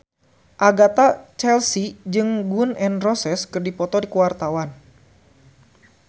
Agatha Chelsea jeung Gun N Roses keur dipoto ku wartawan